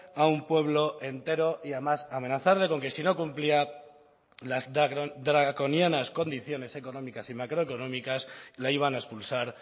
a un pueblo entero y además amenazarle con que si no cumplía las draconianas condiciones económicas y macroeconómicas la iban a expulsar